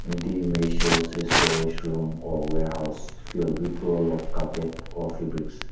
the image shows a storage room or warehouse filled with roll of carpet or fabrics.